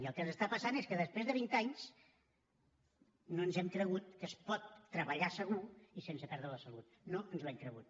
i el que ens està passant és que després de vint anys no ens hem cregut que es pot treballar segur i sense perdre la salut no ens ho hem cregut